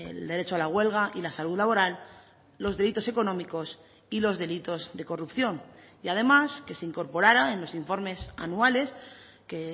el derecho a la huelga y la salud laboral los delitos económicos y los delitos de corrupción y además que se incorporara en los informes anuales que